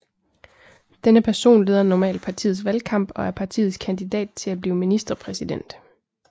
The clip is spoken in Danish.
Denne person leder normalt partiets valgkamp og er partiets kandidat til at blive ministerpræsident